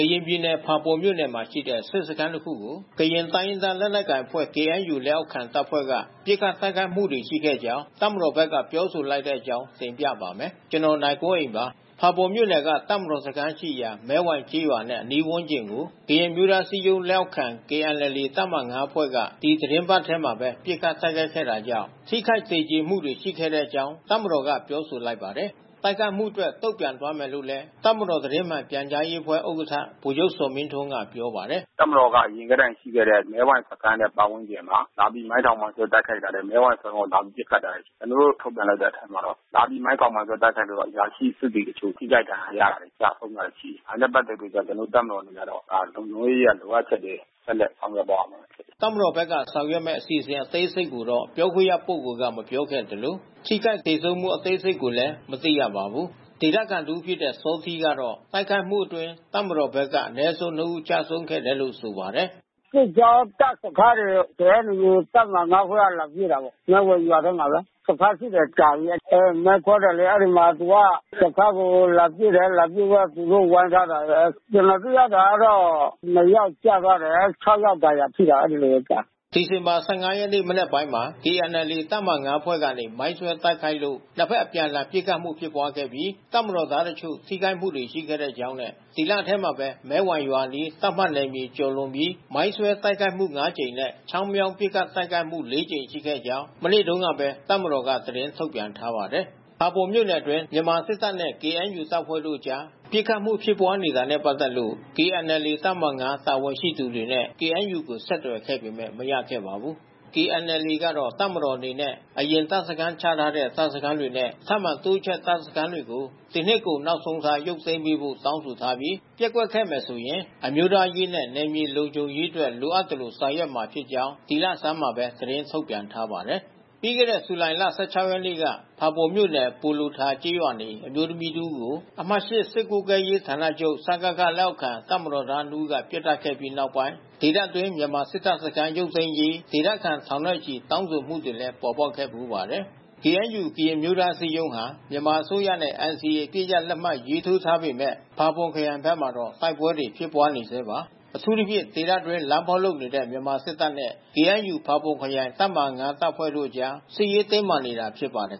ရင်ပြည်နယ်၊ ဖာပွန်မြို့နယ်မှာရှိတဲ့ စစ်စခန်းတခုကို ကရင်တိုင်းရင်းသား လက်နက်ကိုင်အဖွဲ့ KNU လက်အောက်ခံတပ်ဖွဲ့က ပစ်ခတ်တိုက်ခိုက်မှုတွေ ရှိခဲ့ကြောင်း တပ်မတော်က ပြောဆိုလိုက်တဲ့အကြောင်း ဗွီအိုအေမြန်မာပိုင်း သတင်းထောက် ကိုနိုင်ကွန်းအိန်က တင်ပြပါမယ်။ ဖာပွန်မြို့နယ်က တပ်မတော်စခန်းရှိရာ မဲဝိုင်ကျေးရွာနဲ့အနီးဝန်းကျင်ကို ကရင်အမျိုးသားအစည်းအရုံးလက်အောက်ခံ KNLA တပ်မဟာ ၅ အဖွဲ့က ဒီသီတင်းပတ်ထဲမှာပဲ ပစ်ခတ်တိုက်ခိုက်ခဲ့တာကြောင့် ထိခိုက်သေကြေမှုတွေ ရှိခဲ့တဲ့အကြောင်း တပ်မတော်က ပြောဆိုလိုက်ပါတယ်။ တိုက်ခိုက်မှုအတွက် တုံ့ပြန်သွားမယ်လို့လည်း တပ်မတော် သတင်းမှန် ပြန်ကြားရေးအဖွဲ့ ဥက္ကဋ္ဌ ဗိုလ်ချုပ် ဇော်မင်းထွန်းက ပြောပါတယ်။ “တပ်မတော်အနေနဲ့က အရင်ကတည်းကရှိခဲ့တဲ့ မဲဝိုင်စခန်းနဲ့ ပတ်ဝန်းကျင်မှာ လာပြီး မိုင်းထောင် မိုင်းဆွဲတိုက်ခိုက်တာတွေ မဲဝိုင်စခန်းကိုလာပြီးပစ်ခတ်တာတွေ ရှိတယ်။ ကျနော်တို့ ထုတ်ပြန်လိုက်တဲ့အထဲမှာတော့ လာပြီး မိုင်းထောင်မိုင်းဆွဲ တိုက်ခိုက်လို့ အရာရှိစစ်သည်တချို့ ထိခိုက်ဒဏ်ရာရတာ ကျဆုံးသွားတာရှိတယ်။ ဒါနဲ့ ပတ်သက်ပြီး ကျနော်တို့ တပ်မတော်အနေနဲ့က ဒါလုံခြုံရေးအရ လိုအပ်ချက်တွေ ဆက်လက်ဆောင်ရွက်သွားမှာဖြစ်ပါတယ်။” တပ်မတော်ဘက်က ဆောင်ရွက်မယ့်အစီအစဉ် အသေးစိတ်ကိုတော့ ပြောခွင့်ရပုဂ္ဂိုလ်က မပြောခဲ့သလို၊ ထိခိုက် သေဆုံးမှု အသေးစိတ်ကိုလည်း မသိရပါဘူး။ ဒေသခံတစ်ဦးဖြစ်တဲ့ စောထီးကတော့ တိုက်ခိုက်မှုအတွင်း တပ်မတော်ဘက်က အနည်းဆုံး ၂ ဦး ကျဆုံးခဲ့တယ်လို့ ဆိုပါတယ်။ “စစ်ကြောင်း တပ်စခန်းတွေ KNU တပ်မဟာ ၅ အဖွဲ့က လာပစ်တာ။ မဲဝိုင်ရွာထဲမှာပဲ။ စခန်းရှိတာကြာပြီပဲ။ အဲမိုင်း ဖေါက်တယ်လေ၊ အဲဒီမှာသူက စခန်းကို လာပစ်တယ်။ လာပစ်တော့ သူတို့ဝိုင်းထားပါတယ်။ ကျနော်သိရတာတော့ နှစ်ယောက်ကျသွားတယ်။ ၆ ယောက်ဒဏ်ရာဖြစ်တာ အဲဒီလိုကြားတယ်။” ဒီဇင်ဘာ ၁၅ ရက်နေ့ မနက်ပိုင်းမှာ KNLA တပ်မဟာ ၅ အဖွဲ့ကနေ မိုင်းဆွဲ တိုက်ခိုက်လို့ နှစ်ဖက်အပြန်အလှန် ပစ်ခတ်မှုဖြစ်ပွားခဲ့ပြီး တပ်မတော်သားတချို့ ထိခိုက်မှုတွေရှိခဲ့ကြောင်းနဲ့ ဒီလထဲမှာပဲ မဲဝိုင်ရွာအနီး သတ်မှတ်နယ် မြေကျော်လွန်ပြီး မိုင်းဆွဲ တိုက်ခိုက်မှု ၅ ကြိမ်နဲ့ ချောင်းမြောင်းပစ်ခတ်တိုက်ခိုက်မှု ၄ ကြိမ် ရှိခဲ့ကြောင်း မနေ့တုန်းကပဲ တပ်မတော်က သတင်းထုတ်ပြန်ထားပါတယ်။ ဖာပွန်မြို့နယ်အတွင်း မြန်မာစစ်တပ်နဲ့ KNU တပ်ဖွဲ့တို့အကြား ပစ်ခတ်မှု ဖြစ်ပွါးနေတာနဲ့ပက်သက်လို့ KNLA တပ်မဟာ ၅ တာဝန်ရှိသူတွေနဲ့ KNU ကို ဆက်သွယ်ခဲ့ပေမဲ့ မရခဲ့ပါဘူး။ KNLA ကတော့ တပ်မတော်အနေနဲ့ အရင်တပ်စခန်း ချထားတဲ့ တပ်စခန်းတွေနဲ့ ထပ်မံတိုးချဲ့တပ်စခန်းတွေကို ဒီနှစ်ကုန် နောက်ဆုံးထား ရုပ်သိမ်းပေးဖို့ တောင်းဆိုထားပြီး၊ ပျက်ကွက်ခဲ့မယ်ဆိုရင် အမျိုးသားရေးနဲ့ နယ်မြေလုံခြုံရေး အတွက် လိုအပ်သလို ဆောင်ရွက်မှာဖြစ်ကြောင်း ဒီလဆန်းမှာပဲ သတင်းထုတ်ပြန်ထားပါတယ်။ ပြီးခဲ့တဲ့ ဇူလိုင်လ ၁၆ ရက်နေ့က ဖာပွန်မြို့နယ်၊ ပိုလိုထာကျေးရွာနေ အမျိုးသမီးတစ်ဦးကို အမှတ်(၈) စစ်ကွပ်ကဲရေး ဌာနချုပ် (စကခ) လက်အောက်ခံ တပ်မတော်သား နှစ်ဦးက ပစ်သတ်ခဲ့ပြီး နောက်ပိုင်း ဒေသတွင်း မြန်မာစစ်တပ်စခန်း ရုပ်သိမ်းရေး ဒေသခံထောင်နဲ့ချီ တောင်းဆိုမှုတွေလည်း ပေါ်ပေါက်ခဲ့ဖူးပါတယ်။ KNU ကရင်အမျိုးသားအစည်းအရုံးဟာ မြန်မာအစိုးရနဲ့ NCA အပစ်ရပ်လက်မှတ်ရေးထိုးထားပေမဲ့ ဖာပွန်ခရိုင်ဘက်မှာတော့ တိုက်ပွဲတွေ ဖြစ်ပွါးနေဆဲပါ။ အထူးသဖြင့် ဒေသအတွင်းလမ်းဖေါက်လုပ်နေတဲ့ မြန်မာစစ်တပ်နဲ့ KNU ဖါပွန်ခရိုင် တပ်မဟာ ၅ တပ်ဖွဲ့တို့ကြား စစ်ရေးတင်းမာနေတာ ဖြစ်ပါတယ်